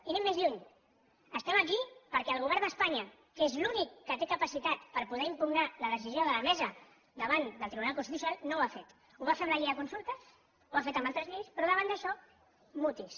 i anem més lluny estem aquí perquè el govern d’espanya que és l’únic que té capacitat per poder impugnar la decisió de la mesa davant del tribunal constitucional no ho ha fet ho va fer amb la llei de consultes ho ha fet amb altres lleis però davant d’això mutis